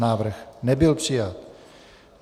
Návrh nebyl přijat.